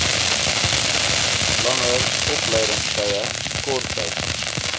langer opleidingstye korttyd